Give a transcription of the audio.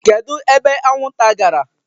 Kedu ebe anwụnta gara?